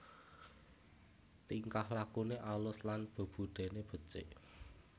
Tingkah lakuké alus lan bebudèné becik